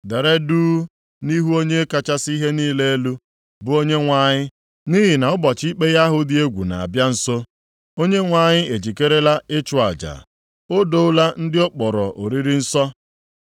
Dere duu nʼihu Onye kachasị ihe niile elu, bụ Onyenwe anyị nʼihi na ụbọchị ikpe ya ahụ dị egwu na-abịa nso. Onyenwe anyị ejikerela ịchụ aja; o doola ndị ọ kpọrọ oriri nsọ.